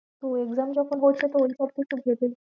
তো exam যখন বলছো তো এই